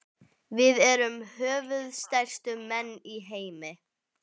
Við erum höfuðstærstu menn í heimi.